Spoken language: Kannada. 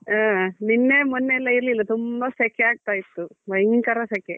ಹಾ ನಿನ್ನೆ ಮೊನ್ನೆ ಎಲ್ಲ ಇರ್ಲಿಲ್ಲ ತುಂಬಾ ಸೆಕೆ ಆಗ್ತಾ ಇತ್ತು ಭಯಂಕರ ಸೆಕೆ.